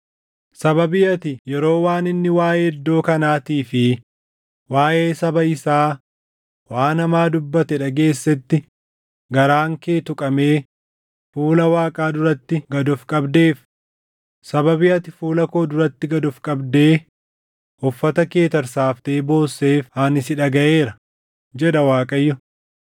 Sababii ati yeroo waan inni waaʼee iddoo kanaatii fi waaʼee saba isaa waan hamaa dubbate dhageessetti garaan kee tuqamee fuula Waaqaa duratti gad of qabdeef, sababii ati fuula koo duratti gad of qabdee, uffata kee tarsaaftee boosseef ani si dhagaʼeera, jedha Waaqayyo.